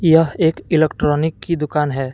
यह एक इलेक्ट्रॉनिक की दुकान है।